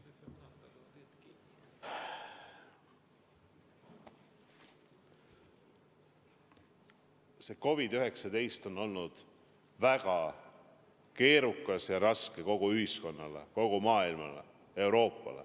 See COVID-19 on olnud väga keerukas ja raske probleem kogu meie ühiskonnale, kogu Euroopale, kogu maailmale.